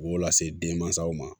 U b'o lase denmansaw ma